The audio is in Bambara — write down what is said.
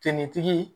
Finitigi